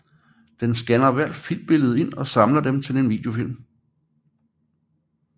Den skanner hvert filmbillede ind og samler dem til en videofilm